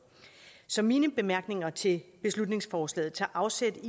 så mine bemærkninger til beslutningsforslaget tager afsæt